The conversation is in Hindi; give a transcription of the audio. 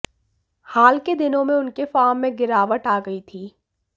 हाल के दिनों में उनके फार्म में गिरावट आ गयी थी